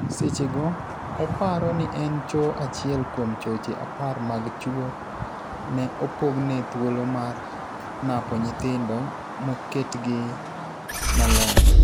Sechego , oparo ni en choo achiel kuom choche apar mag chuo ne opogne thuolo mar napo nyithindo moketgi maler.